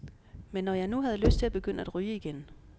Men når jeg nu havde lyst til at begynde at ryge igen.